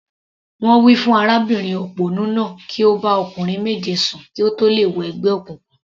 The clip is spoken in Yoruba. Wọ́n wí fún arábìnrin òpònú náà kí ó bá ọkùnrin méje sùn kí ó tó lè wọ ẹgbẹ́ òkùnkùn.